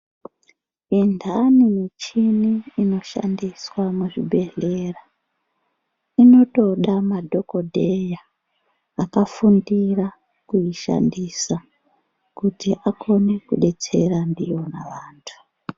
Indani michini inoshandiswa muzvibhedhlera, inotoda madhokodheya, akafundira kuyishandisa kuti akone kudetsera ndiyona vantu.